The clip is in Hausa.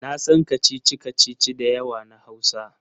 Na san kacici-kacici da yawa na Hausa.